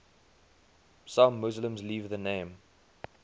some muslims leave the name